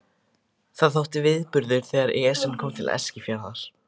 Það þótti viðburður þegar Esjan kom til Eskifjarðar.